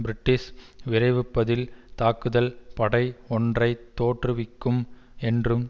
British விரைவுப்பதில் தாக்குதல் படை ஒன்றை தோற்றுவிக்கும் என்றும்